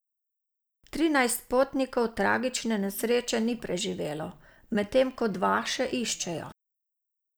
Trinajst potnikov tragične nesreče ni preživelo, medtem ko dva še iščejo.